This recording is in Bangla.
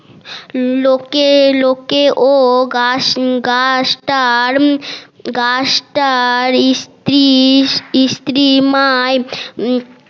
লোকে লোকে ও গাশ গাশটা গাশটার ইস্ত্রি ইস্ত্রিমায়